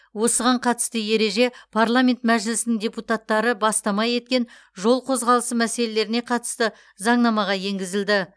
осыған қатысты ереже парламент мәжілісінің депутаттары бастама еткен жол қозғалысы мәселелеріне қатысты заңнамаға енгізілді